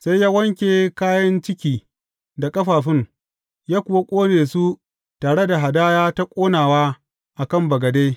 Sai ya wanke kayan ciki da ƙafafun, ya kuwa ƙone su tare da hadaya ta ƙonawa a kan bagade.